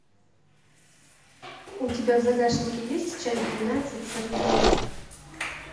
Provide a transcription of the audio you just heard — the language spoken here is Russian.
у тебя в загашнике есть часть двенадцать сорвиголова